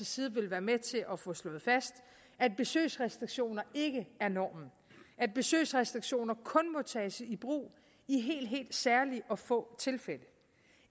side vil være med til at få slået fast at besøgsrestriktioner ikke er normen at besøgsrestriktioner kun må tages i brug i helt helt særlige og få tilfælde